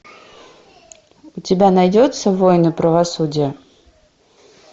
у тебя найдется воины правосудия